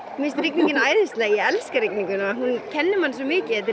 finnst rigningin æðisleg ég elska rigninguna hún kennir manni svo mikið þetta er